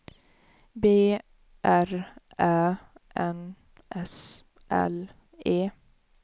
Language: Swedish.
B R Ä N S L E